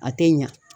A tɛ ɲa